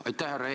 Aitäh!